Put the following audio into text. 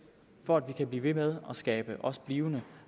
for at vi kan blive ved med at skabe også blivende